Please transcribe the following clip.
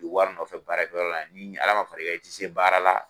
U bɛ wari nɔfɛ baarakɛ yɔrɔ la yan ni Ala man fara i kan i tɛ se baara la